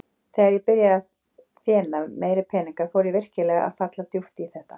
Þegar ég byrjaði að þéna meiri peninga fór ég virkilega að falla djúpt í þetta.